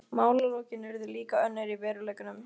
Málalokin urðu líka önnur í veruleikanum.